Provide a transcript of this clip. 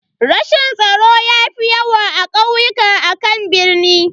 Rashin tsaro ya fi yawa a kauyuka akan birni.